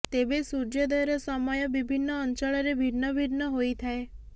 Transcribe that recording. ତେବେ ସୂର୍ଯ୍ୟୋଦୟର ସମୟ ବିଭିନ୍ନ ଅଞ୍ଚଳରେ ଭିନ୍ନ ଭିନ୍ନ ହୋଇଥାଏ